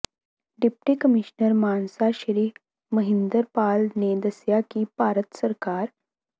deputy commissioner Mansa Shri Mahinder Pal ਨੇ ਦੱਸਿਆ ਕਿ ਭਾਰਤ ਸਰਕਾਰ